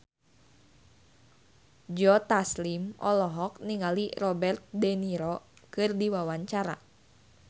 Joe Taslim olohok ningali Robert de Niro keur diwawancara